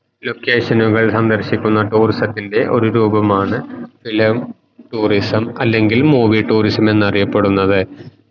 location നുകൾ സന്ദർശിക്കുന്ന tourism രൂപമാണ് film tourism അല്ലെങ്കിൽ movie tourism എന്നറിയപ്പെടുന്നത്